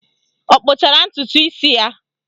Ọ kpụchara ntụtụ isi ya?